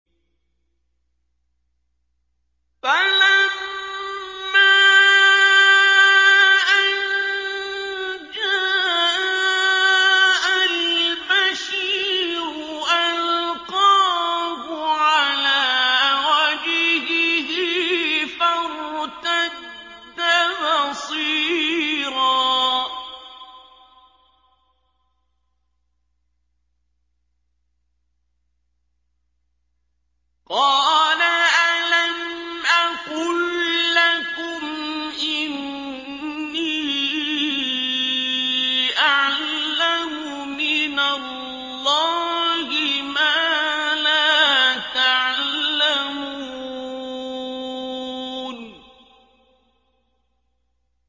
فَلَمَّا أَن جَاءَ الْبَشِيرُ أَلْقَاهُ عَلَىٰ وَجْهِهِ فَارْتَدَّ بَصِيرًا ۖ قَالَ أَلَمْ أَقُل لَّكُمْ إِنِّي أَعْلَمُ مِنَ اللَّهِ مَا لَا تَعْلَمُونَ